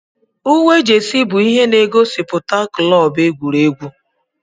Uwe jesi bụ ihe na-gosiputa klọb egwuregwu.